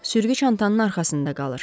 Sürgü çantanın arxasında qalır.